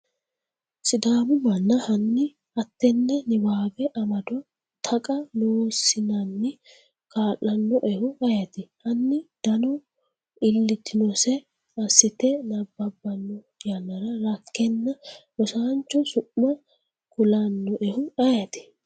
sidaamu mana Hanni hattenne niwaawe amado Taqa Loossinanni kalannoehu ayeeti? Hanni dano iillitinose assite nabbabbanno yannara rakkenna rosaancho su’ma kulannoehu ayeeti?